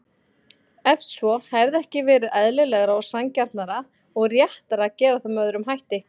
Ef svo, hefði ekki verið eðlilegra, sanngjarnara og réttara að gera það með öðrum hætti?